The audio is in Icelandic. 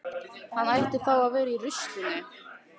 Hann ætti þá að vera í ruslinu.